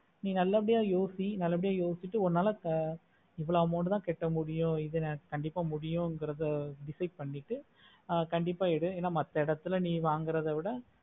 நீ நல்ல பாடிய எழுதி நல்ல பாடிய எழுதிட்டு ஆஹ் உன்னால எவ்ளோ amount தா கட்ட முடியும் எத்தன கண்டிப்பா முடியுமாகிறது decide பண்ணிட்டு என்ன மத்த எடத்துல வாங்குறத விட